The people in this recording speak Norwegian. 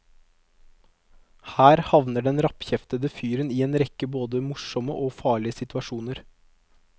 Her havner den rappkjeftede fyren i en rekke både morsomme og farlige situasjoner.